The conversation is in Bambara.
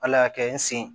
Ala y'a kɛ n sen